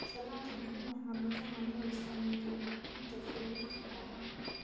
Salad ukun waxaa badanaa loo isticmaalaa buuxinta sandwich ahaan.